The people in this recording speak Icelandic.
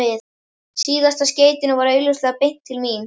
Síðasta skeytinu var augljóslega beint til mín.